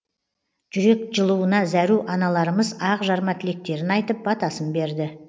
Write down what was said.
жүрек жылуына зәру аналарымыз ақ жарма тілектерін айтып батасын берді